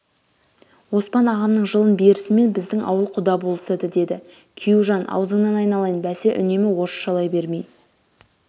оспан ағамның жылын берісімен біздің ауыл құда болысады деді күйеужан аузыңнан айналайын бәсе үнемі орысшалай бермей